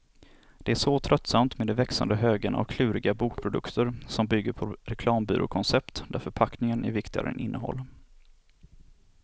Det är så tröttsamt med de växande högarna av kluriga bokprodukter som bygger på reklambyråkoncept, där förpackning är viktigare än innehåll.